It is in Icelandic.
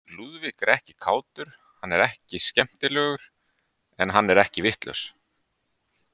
Lúðvík er ekki kátur, hann er ekki skemmtilegur, en hann er ekki vitlaus.